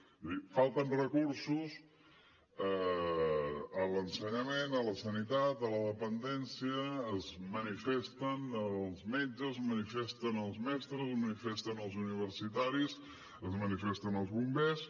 és a dir falten recursos a l’ensenyament a la sanitat a la dependència es manifesten els metges es manifesten els mestres es manifesten els universitaris es manifesten els bombers